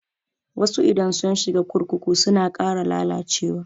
Wasu idan sun shiga kurkuku suna ƙara lalacewa.